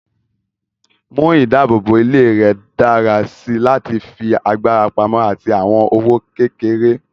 Mú ìdáàbòbò ilé rẹ dára sí láti fi agbára pamọ́ àti àwọn owó kékeré.